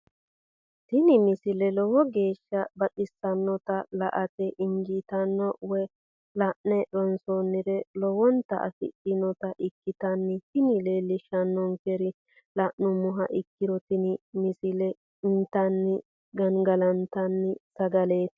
tini misile lowo geeshsha baxissannote la"ate injiitanno woy la'ne ronsannire lowote afidhinota ikkitanna tini leellishshannonkeri la'nummoha ikkiro tini misile intanni gangalantanni sagaleeti.